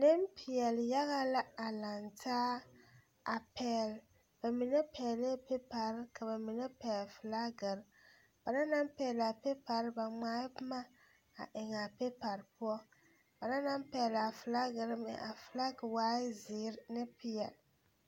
Nempeɛle yaga la a laŋ taa a pɛgle ba mine pɛglɛɛ pepari ka ba mine pɛgle filagiri ba na naŋ pɛgle a pepari ba ŋmaa boma a eŋ a pepari poɔ ba na naŋ pɛgle a filagiri meŋ a filagi waaɛ zeere ne peɛle.